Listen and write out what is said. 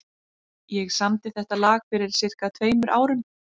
Ég samdi þetta lag fyrir sirka tveimur árum.